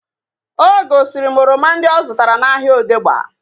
O gosiri m oroma ndị nke ọ zụtara n'ahia Odegba